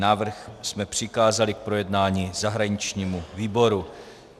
Návrh jsme přikázali k projednání zahraničnímu výboru.